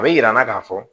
A bɛ yir'an na k'a fɔ